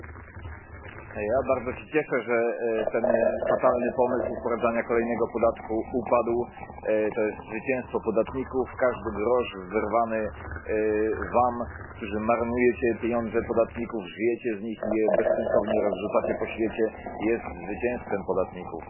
Pani Przewodnicząca! Ja bardzo się cieszę, że ten fatalny pomysł wprowadzania kolejnego podatku upadł. To jest zwycięstwo podatników. Każdy grosz wyrwany wam, którzy marnujecie pieniądze podatników, żyjecie z nich i je bezsensownie rozrzucacie po świecie, jest zwycięstwem podatników.